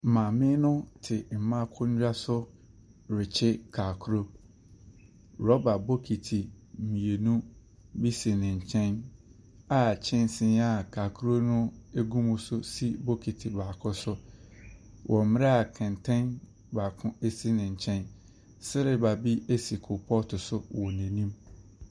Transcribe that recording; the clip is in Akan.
Maame no te mmaa akonwa so rekye kakro. Rubber bokiti mmienu bi si no nkyɛn a kyɛnsen a kakro no gu mu no nso si bokiti baako so wɔ mmerɛ a kɛntɛn baako esi ne nkyɛn. Sriba bi si kolpɔt so si n'enim.